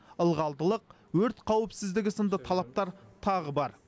ылғалдылық өрт қауіпсіздігі сынды талаптар тағы бар